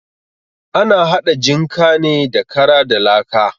Ana haɗa jinka ne da kara da laka.